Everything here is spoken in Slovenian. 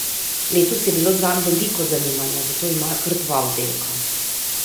Letos je bilo zanj veliko zanimanja, zato imajo kar dva oddelka.